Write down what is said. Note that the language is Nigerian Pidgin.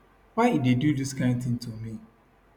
why e do dis kain tin to me